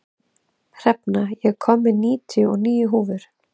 Hrefna, ég kom með níutíu og níu húfur!